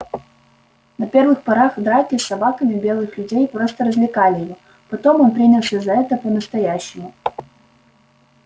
на первых порах драки с собаками белых людей просто развлекали его потом он принялся за это по-настоящему